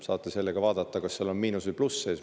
Saate sellega vaadata, kas seal on miinus või pluss ees.